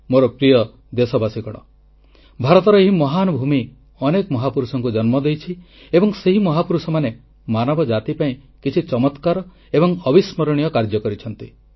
ମୋର ପ୍ରିୟ ଦେଶବାସୀଗଣ ଭାରତର ଏହି ମହାନ୍ ଭୂମି ଅନେକ ମହାପୁରୁଷଙ୍କୁ ଜନ୍ମ ଦେଇଛି ଏବଂ ସେହି ମହାପୁରୁଷମାନେ ମାନବ ଜାତି ପାଇଁ କିଛି ଚମକ୍ରାର ଏବଂ ଅବିସ୍ମରଣୀୟ କାର୍ଯ୍ୟ କରିଛନ୍ତି